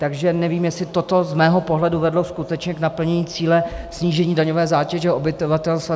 Takže nevím, jestli toto z mého pohledu vedlo skutečně k naplnění cíle snížení daňové zátěže obyvatelstva.